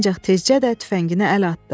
Ancaq tezcə də tüfəngini əl atdı.